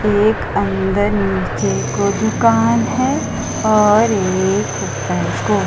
एक अंदर नीचे को दुकान है और एक ऊपर को।